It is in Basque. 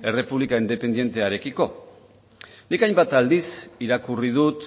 errepublika independentearekiko nik hainbat aldiz irakurri dut